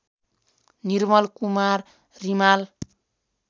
Nirmal Kumar Rimal